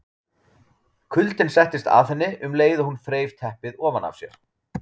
Kuldinn settist að henni um leið og hún þreif teppið ofan af sér.